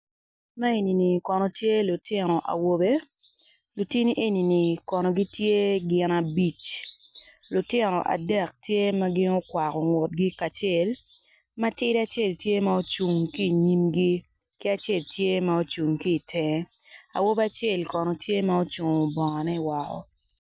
Man enini kono tye lutino awobe lutini enini kono gitye gin abic lutino adek tye ma gin okwako ngutgi kacel matidi acel tye ma ocung ki inyimgi ki acel tye ma ocung ki itenge awobi acel kono tye ma ocungo bongone woko.